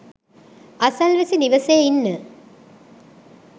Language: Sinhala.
අසල්වැසි නිවසේ ඉන්න